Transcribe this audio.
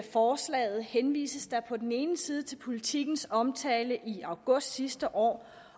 forslaget henvises der på den ene side til politikens omtale i august sidste år